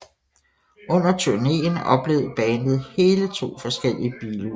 Under turnéen oplevede bandet hele to forskellige biluheld